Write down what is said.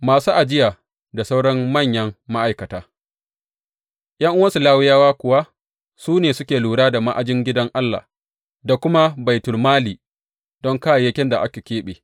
Masu ajiya da sauran manyan ma’aikata ’Yan’uwansu Lawiyawa kuwa su ne suke lura da ma’ajin gidan Allah da kuma baitulmali don kayayyakin da aka keɓe.